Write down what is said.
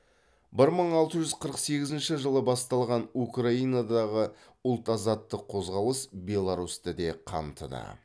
бір мың алты жүз қырық сегізінші жылы басталған украинадағы ұлт азаттық қозғалыс беларусьті де қамтыды